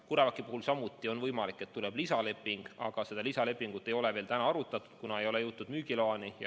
CureVaci puhul samuti on võimalik, et tuleb lisaleping, aga seda ei ole veel arutatud, kuna ei ole jõutud müügiloani.